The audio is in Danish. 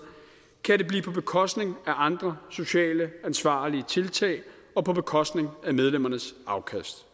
kan det blive på bekostning af andre socialt ansvarlige tiltag og på bekostning af medlemmernes afkast